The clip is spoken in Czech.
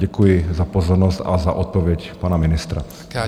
Děkuji za pozornost a za odpověď pana ministra.